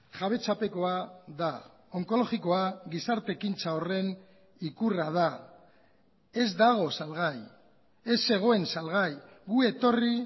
jabetzapekoa da onkologikoa gizarte ekintza horren ikurra da ez dago salgai ez zegoen salgai gu etorri